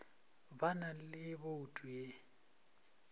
ba na le bouto e